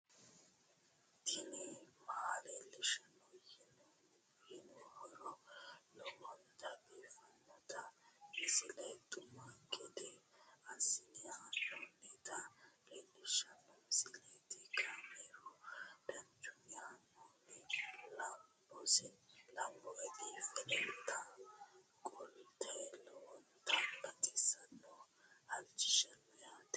tini maa leelishshanno yaannohura lowonta biiffanota misile xuma gede assine haa'noonnita leellishshanno misileeti kaameru danchunni haa'noonni lamboe biiffe leeeltannoqolten lowonta baxissannoe halchishshanno yaate